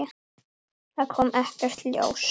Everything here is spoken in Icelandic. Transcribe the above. Það kom ekkert ljós.